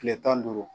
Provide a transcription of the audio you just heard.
Tile tan ni duuru